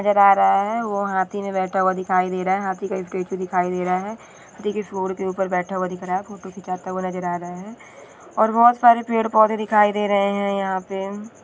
नजर आ रहा है वो हथी पे बैठा हुआ नजर आ रहा है हथी के सुढ के ऊपर बैठा हुआ दिख रहा है फोटो खींचता हुआ नजर आ रहा है और बहुत सरे पेड़-पौधे दिखाई दे रहे है यहाँ पे--